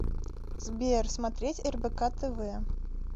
сбер смотреть рбк тв